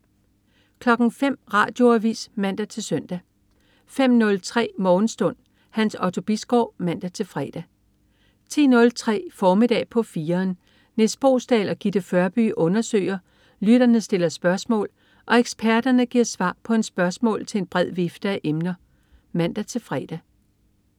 05.00 Radioavis (man-søn) 05.03 Morgenstund. Hans Otto Bisgaard (man-fre) 10.03 Formiddag på 4'eren. Nis Boesdal og Gitte Førby undersøger, lytterne stiller spørgsmål og eksperterne giver svar på spørgsmål til en bred vifte af emner (man-fre)